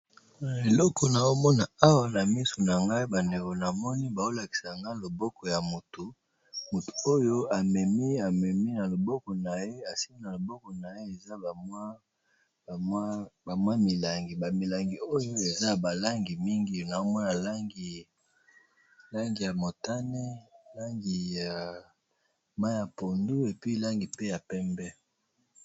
Eloko nazomona awa ba ndeko na ngai, namoni bazolakisa loboko ya mutu esimbi milangi